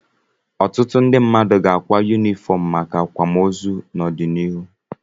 Ọtụtụ ndị mmadụ ga-akwa yunifọm maka akwamoozu n'ọdịnihu.